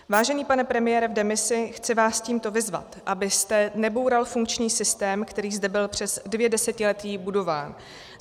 Vážený pane premiére v demisi, chci vás tímto vyzvat, abyste neboural funkční systém, který zde byl přes dvě desetiletí budován.